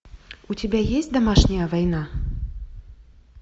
у тебя есть домашняя война